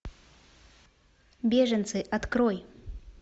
беженцы открой